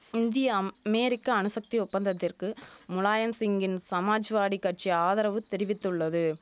இந்திய அம் அமெரிக்க அணுசக்தி ஒப்பந்தத்திற்கு முலாயம் சிங்கின் சமாஜ்வாடி கட்சி ஆதரவு தெரிவித்துள்ளது